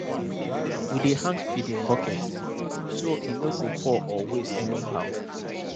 we dey hang feeding bucket so e no go pour or waste anyhow.